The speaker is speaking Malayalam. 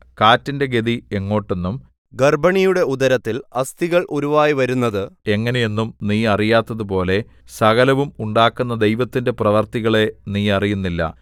കാറ്റിന്റെ ഗതി എങ്ങോട്ടെന്നും ഗർഭിണിയുടെ ഉദരത്തിൽ അസ്ഥികൾ ഉരുവായി വരുന്നത് എങ്ങനെ എന്നും നീ അറിയാത്തതുപോലെ സകലവും ഉണ്ടാക്കുന്ന ദൈവത്തിന്റെ പ്രവൃത്തികളെ നീ അറിയുന്നില്ല